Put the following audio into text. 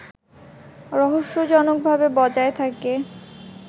রহস্যজনকভাবে বজায় থাকে